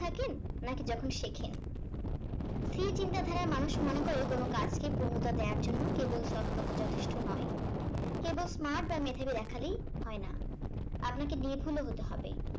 নাকি যখন শেখেন? স্থির চিন্তাধারার মানুষ মনে করে কোন কাজ কি পূর্ণতা দেওয়ার জন্য কেবল সফলতা যথেষ্ট নয় কেবল smart বা মেধাবী দেখালেই হয় না আপনাকে নির্ভুল ও হতে হবে।